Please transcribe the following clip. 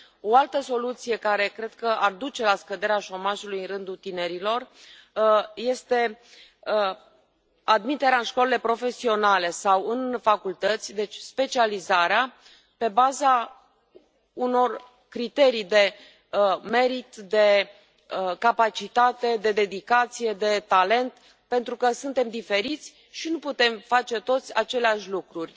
O altă soluție care cred că ar duce la scăderea șomajului în rândul tinerilor este admiterea în școlile profesionale sau în facultăți deci specializarea pe baza unor criterii de merit, de capacitate, de dedicație, de talent, pentru că suntem diferiți și nu putem face toți aceleași lucruri.